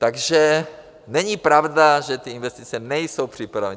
Takže není pravda, že ty investice nejsou připravené.